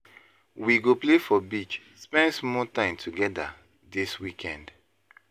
We go play for beach, spend small time togeda dis weekend.